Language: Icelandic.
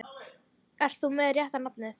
Ert þú með rétta nafnið?